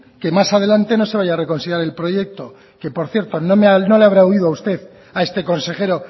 que más adelante no se vaya a reconsiderar el proyecto que por cierto no le habrá oído usted a este consejero